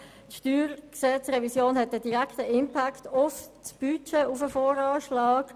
Die Steuergesetzrevision hat einen direkten Impact auf das Budget und den VA.